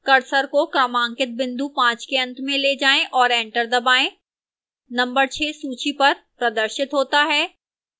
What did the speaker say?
cursor को क्रमांकित बिंदु 5 के अंत में ले जाएं और enter दबाएं numbered 6 सूची पर प्रदर्शित होता है